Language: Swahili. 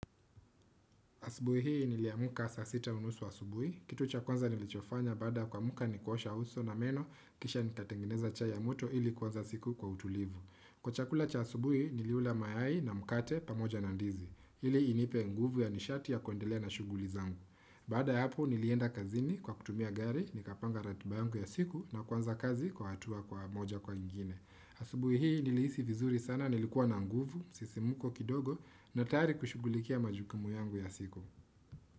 Asubuhi hii niliamuka saa sita unusu asubuhi kitu cha kwanza nilichofanya baada kuamuka ni kuosha uso na meno kisha nikatengeneza chai ya moto ili kuanza siku kwa utulivu Kwa chakula cha asubuhi niliula mayai na mkate pamoja na ndizi ili inipe nguvu ya nishati ya kuendelea na shughuli zangu Baada ya hapo nilienda kazini kwa kutumia gari nikapanga ratiba yangu ya siku na kuanza kazi kwa hatua kwa moja kwa ingine Asubuhi hii nilihisi vizuri sana nilikuwa na nguvu sisimuko kidogo na tayari kushughulikia majukumu yangu ya siku.